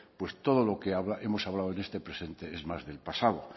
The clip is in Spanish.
pues todo lo que hemos hablado en este presente es más del pasado